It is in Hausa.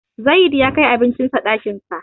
Zayid ya kai abincin sa ɗakin sa.